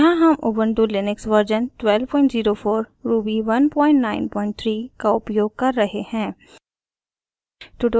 यहाँ हम Ubuntu Linux version 1204 ruby 193 का उपयोग कर रहे हैं